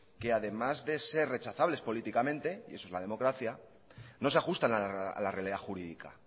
que además de ser rechazables políticamente y eso es la democracia no se ajustan a la realidad jurídica